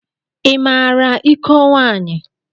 I maara iko nwaanyị?